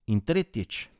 In tretjič.